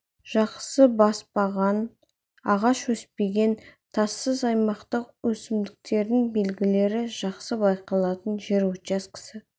жақсы баспаған ағаш өспеген тассыз аймақтық өсімдіктердің белгілері жақсы байқалатын жер учаскесі